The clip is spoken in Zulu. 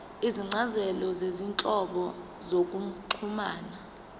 izincazelo zezinhlobo zokuxhumana